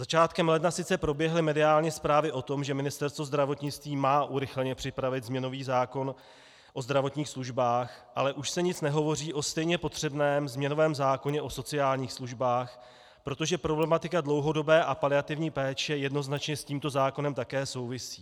Začátkem ledna sice proběhly mediální zprávy o tom, že Ministerstvo zdravotnictví má urychleně připravit změnový zákon o zdravotních službách, ale už se nic nehovoří o stejně potřebném změnovém zákoně o sociálních službách, protože problematika dlouhodobé a paliativní péče jednoznačně s tímto zákonem také souvisí.